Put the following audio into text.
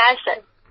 হ্যাঁ স্যার